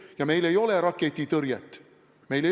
Ja meil ei ole raketitõrjet.